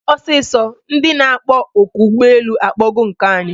Mee ọsịsọ! Ndị na akpọ oku ụgbọ elu akpọgo nke anyị!